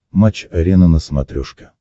матч арена на смотрешке